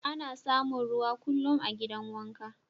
Ana samun ruwa kullum a'gidan wanka.